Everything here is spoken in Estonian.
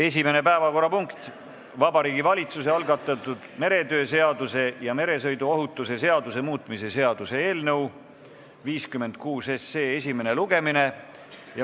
Esimene päevakorrapunkt on Vabariigi Valitsuse algatatud meretöö seaduse ja meresõiduohutuse seaduse muutmise seaduse eelnõu 56 esimene lugemine.